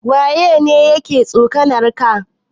Waya ne yake tsokanar ka?